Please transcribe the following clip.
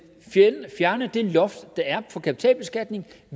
fjerne det loft der er på kapitalbeskatning